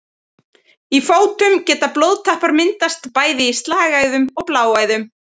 Í fótum geta blóðtappar myndast bæði í slagæðum og bláæðum.